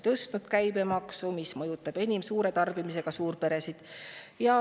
Te olete tõstnud käibemaksu, mis mõjutab enim suure tarbimisega suurperesid.